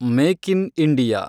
make in India